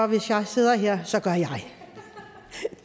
hvis jeg sidder her